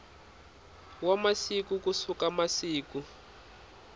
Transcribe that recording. wa masiku ku suka siku